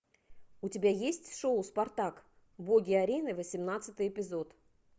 у тебя есть шоу спартак боги арены восемнадцатый эпизод